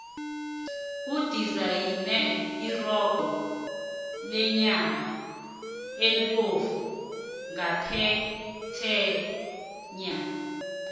kudizayinwe irogo lenyama ebovu ngaphetheya